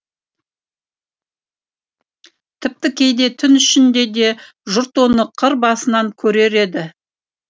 тіпті кейде түн ішінде де жұрт оны қыр басынан көрер еді